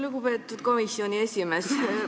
Lugupeetud komisjoni esimees!